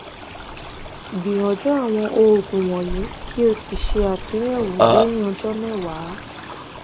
gbìyànjú àwọn òògùn wọ̀nyí kí o sì ṣe àtúnyẹ̀wò lẹ́yìn ọjọ́ mẹ́wàá